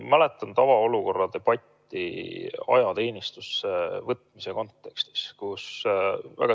Mäletan tavaolukorra debatti ajateenistusse võtmise kontekstis.